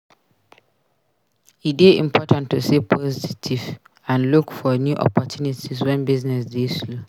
E dey important to stay positive and look for new opportunities wen business dey slow.